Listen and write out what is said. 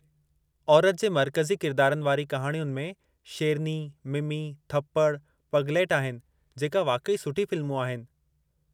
औरति जे मरकज़ी किरदारनि वारी कहाणियुनि में शेरनी, मिमी, थप्पड़, पगलैट आहिनि जेका वाक़ई सुठी फ़िल्मूं आहिनि।